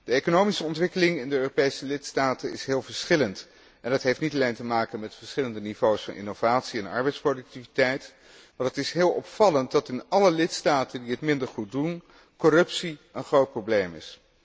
De economische ontwikkeling in de Europese lidstaten is heel verschillend. Dat heeft niet alleen te maken met verschillende niveaus van innovatie en arbeidsproductiviteit, maar het is heel opvallend dat in alle lidstaten die het minder goed doen, corruptie een groot probleem is.